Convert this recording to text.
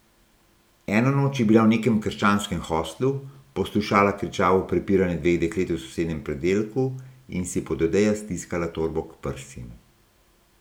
Eno noč je bila v nekem krščanskem hostlu, poslušala kričavo prepiranje dveh deklet v sosednjem predelku in si pod odejo stiskala torbo k prsim.